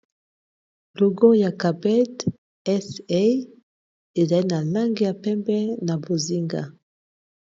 Logo oyo ya capped sa ezali na langi ya pembe na bozinga.